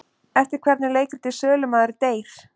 Eftir hvern er leikritið Sölumaður deyr?